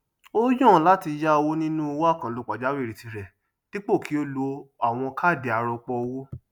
ó yàn láti yá owó nínú owó àkànlò pàjáwìrì tí rẹ dípò kí ó ló àwọn káàdì arọpọ owó